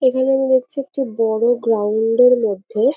এখানে আমি দেখছি একটি বড়ো গ্রাউন্ড -এর মধ্যে--